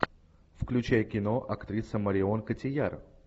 включай кино актриса марион котийяр